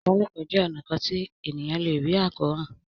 ìbálòpọ̀ jé ọnà kán tí ènìyàn lẹ rí Àkóràn.